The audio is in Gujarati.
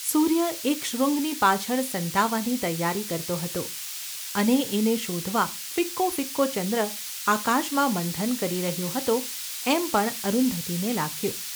સૂર્ય એક શૃંગની પાછળ સંતાવાની તૈયારી કરતો હતો અને એને શોધવા ફિક્કો ફિક્કો ચંદ્ર આકાશમાં મંથન કરી રહ્યો હતો એમ પણ અરુંધતીને લાગ્યું.